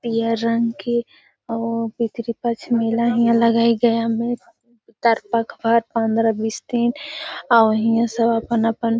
यह रंग की ओ मेला है में और इहा सब अपन अपन --